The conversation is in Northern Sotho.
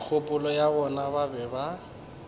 kgopolong ya bona ba be